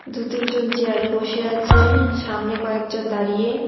দু তিনজন চেয়ারে বসে আছে সামনে কয়েকজন দাঁড়িয়ে।